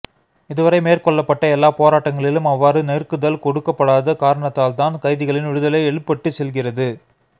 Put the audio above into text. இதுவரை மேற்கொள்ளப்பட்ட எல்லாப் போராட்டங்களிலும் அவ்வாறு நெருக்குதல் கொடுக்கப்படாத காரணத்தால்தான் கைதிகளின் விடுதலை இழுபட்டுச் செல்கிறது